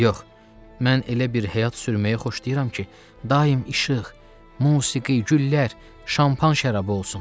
Yox, mən elə bir həyat sürməyi xoşlayıram ki, daim işıq, musiqi, güllər, şampan şərabı olsun.